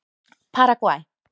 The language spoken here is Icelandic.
Paragvæ